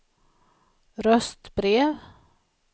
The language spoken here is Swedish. röstbrev